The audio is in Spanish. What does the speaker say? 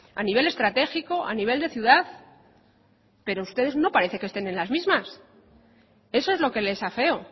a nivel estratégico a nivel de ciudad pero ustedes no parece que estén en las mismas eso es lo que les afeo